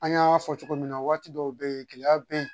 An y'a fɔ cogo min na waati dɔw be yen gɛlɛya be yen